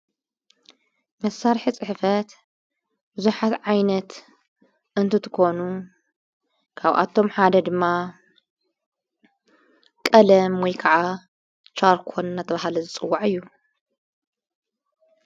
መሣርሒ ጽሕፈት ብዙሓት ዓይነት እንትትኮኑ ካብኣቶም ሓደ ድማ ቀለም ወይ ከዓ ሻርኮን እናተብሃለ ዝጽዋዕ እዩ።